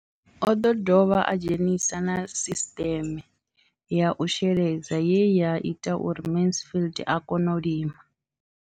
O ḓo dovha a dzhenisa na sisiṱeme ya u sheledza ye ya ita uri Mansfied a kone u lima.